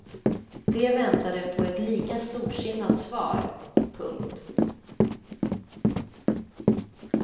De väntade på ett lika storsinnat svar. punkt